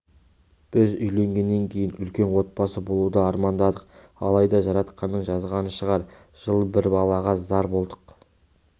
біз үйленгеннен кейін үлкен отбасы болуды армандадық алайда жаратқанның жазғаны шығар жыл бір балаға зар болдық